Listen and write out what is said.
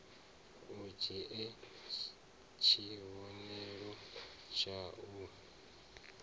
u dzhie tshivhonelo tshau d